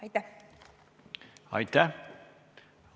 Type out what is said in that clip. Aitäh!